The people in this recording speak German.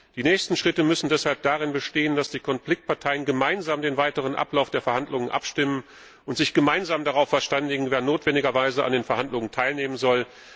Die nächsten Schritte müssen deshalb darin bestehen, dass die Konfliktparteien gemeinsam den weiteren Ablauf der Verhandlungen abstimmen und sich gemeinsam darauf verständigen, wer notwendigerweise an den Verhandlungen teilnehmen soll.